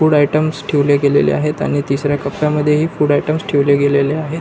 Food items ठेवले गेलेले आहेत आणि तिसऱ्या कप्या मध्ये ही फूड आयटम्स ठेवले गेलेले आहेत.